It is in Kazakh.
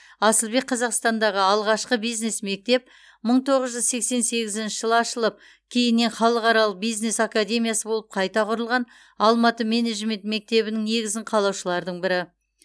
асылбек қазақстандағы алғашқы бизнес мектеп мың тоғыз жүз сексен сегізінші жылы ашылып кейіннен халықаралық бизнес академиясы болып қайта құрылған алматы менеджмент мектебінің негізін қалаушылардың бірі